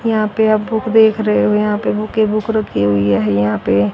यहां पे आप बुक देख रहे हो यहां पे बुक ही बुक रखी हुई है यहां पे --